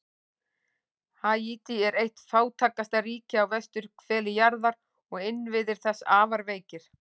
Haítí er eitt fátækasta ríki á vesturhveli jarðar og innviðir þess afar veikir.